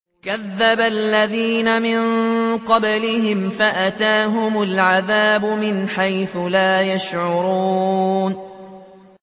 كَذَّبَ الَّذِينَ مِن قَبْلِهِمْ فَأَتَاهُمُ الْعَذَابُ مِنْ حَيْثُ لَا يَشْعُرُونَ